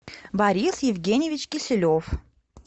борис евгеньевич киселев